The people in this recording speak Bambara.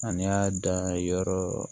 Ani y'a dan ye yɔrɔ